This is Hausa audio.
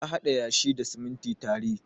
Ya haɗa yashi da siminti tare.